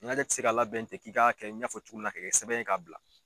Nɛnajɛ tɛ se ka labɛn kɛ k'i k'a kɛ i ɲɛfɔ cogo min na ka kɛ sɛbɛn ye ka bila.